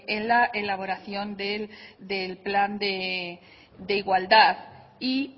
en la elaboración del plan de igualdad y